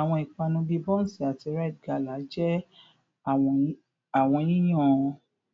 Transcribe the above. Awọn ipanu bii bonsi ati rite gala jẹ awọn yiyan